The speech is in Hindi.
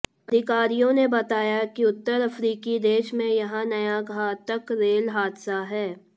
अधिकारियों ने बताया कि उत्तर अफ्रीकी देश में यह नया घातक रेल हादसा है